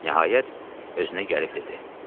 Nəhayət özünə gəlib dedi.